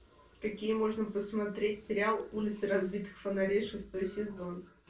какие можно посмотреть сериал улицы разбитых фонарей шестой сезон